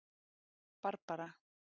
Barbara